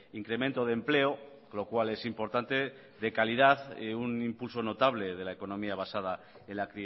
incremento de empleo lo cual es importante de calidad un impulso notable de la economía basada en la